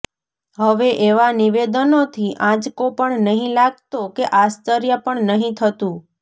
હવે એવાં નિવેદનોથી આંચકો પણ નથી લાગતો કે આશ્ચર્ય પણ નથી થતું